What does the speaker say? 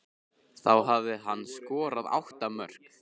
Þá hafði hann skorað átta mörk.